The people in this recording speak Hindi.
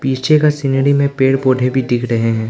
पीछे का सीनरी में पेड़ पौधे दिख रहे हैं।